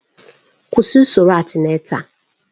Kwụsị usoro antịnátál!